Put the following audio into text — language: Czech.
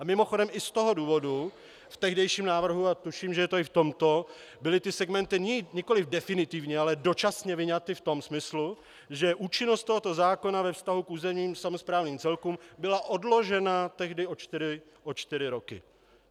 A mimochodem i z toho důvodu v tehdejším návrhu a tuším, že je to i v tomto, byly ty segmenty nikoliv definitivně, ale dočasně vyňaty v tom smyslu, že účinnost tohoto zákona ve vztahu k územním samosprávním celkům byla odložena tehdy o čtyři roky.